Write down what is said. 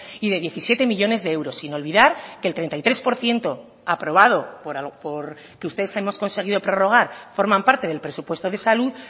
y de diecisiete millónes de euros sin olvidar que el treinta y tres por ciento aprobado porque ustedes hemos conseguido prorrogar forman parte del presupuesto de salud